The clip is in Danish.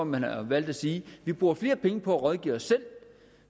man har valgt at sige at vi bruger flere penge på at rådgive os selv